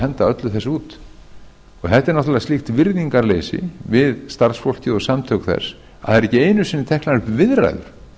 henda öllu þessu út þetta er náttúrlega slíkt virðingarleysi við starfsfólkið og samtök þess að það eru ekki einu sinni teknar upp viðræður